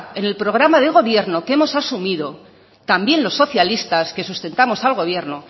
en el programa de gobierno que hemos asumido también los socialistas que sustentamos al gobierno